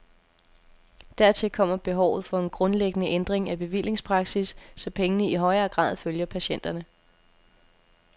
Dertil kommer behovet for en grundlæggende ændring af bevillingspraksis, så pengene i højere grad følger patienterne.